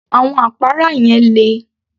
Àwọn àpárá yẹn le